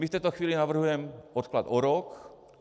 My v této chvíli navrhujeme odklad o rok.